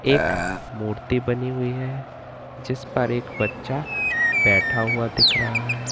एक मूर्ति बनी हुई है जिस पर एक बच्चा बैठा हुआ दिख रहा है।